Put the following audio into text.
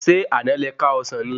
Ṣé àná le ká ọsán ni?